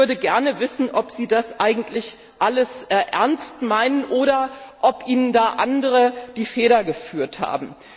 Ich würde gerne wissen, ob Sie das eigentlich alles ernst meinen, oder ob Ihnen da andere die Feder geführt haben.